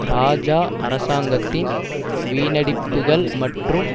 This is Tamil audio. இராஜா அரசாங்கத்தின் வீணடிப்புக்கள் மற்றும்